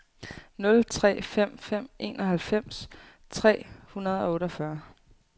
nul tre fem fem enoghalvfems tre hundrede og otteogfyrre